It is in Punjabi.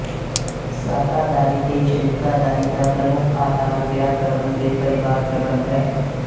ਸਾਕਾਦਾਰੀ ਤੇ ਸ਼ਰੀਕਾਦਾਰੀ ਦਾ ਪ੍ਰਮੁੱਖ ਆਧਾਰ ਵਿਆਹ ਪ੍ਰਬੰਧ ਤੇ ਪਰਿਵਾਰਪ੍ਰਬੰਧ ਹੈ